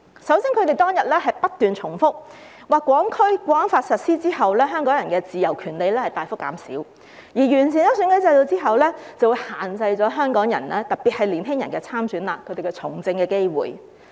首先，他們當天不斷重複，說《香港國安法》實施後，香港人的自由權利大幅減少，而完善選舉制度後，便會限制了香港人，特別是年輕人參選和從政的機會。